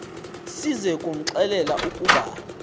size kumxelela ukuba